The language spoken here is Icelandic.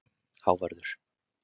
Hávarður